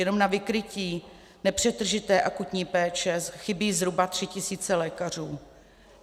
Jenom na vykrytí nepřetržité akutní péče chybí zhruba tři tisíce lékařů.